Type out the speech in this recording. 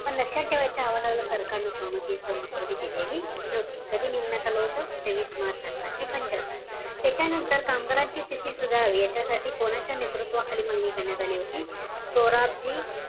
पण लक्ष्यात ठेवायचं अहवालाला सरकार नि संमती का मंजुरी दिलेली नव्हती कधी नेमण्यात आले होते. तेवीस मार्च अठराशे पंच्यात्तर. त्याच्या नंतर कामगाराची स्तिथी सुधारली याच्यासाठी कोणाच्या नेतृत्वाखाली मंजूर करण्यात आली होती सोराबजी